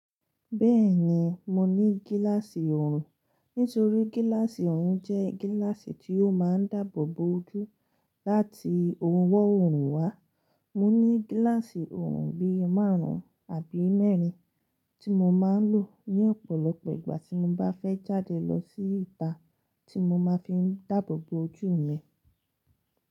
Bẹ́ẹ̀ni, mo ní gíláàsì oorun, nítorí gíláàsì oorun jẹ́ gíláàsì tí ó máa ń dáàbò bo ojú láti ohun ọwọ́ oorun wá. Mo ní gíláàsì oorun bí i márùn-ún àbí mẹ́rin tí mo máa ń lò ní ọ̀pọ̀lọpọ̀ ìgbà tí mo bá fẹ́ jáde lọ sí ìta tí mo máa fi ń dáàbò bo ojú mi.